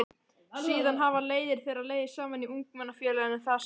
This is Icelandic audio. Síðan hafa leiðir þeirra legið saman í Ungmennafélaginu þar sem